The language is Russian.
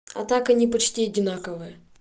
а так они почти одинаковые